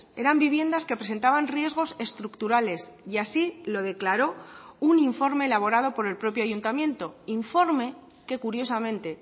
eran viviendas que presentaban riesgos estructurales y así lo declaró un informe elaborado por el propio ayuntamiento informe que curiosamente